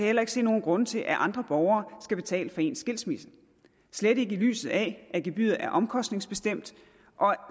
heller ikke se nogen grunde til at andre borgere skal betale for ens skilsmisse slet ikke i lyset af at gebyret er omkostningsbestemt